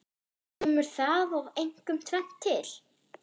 Kemur þar einkum tvennt til.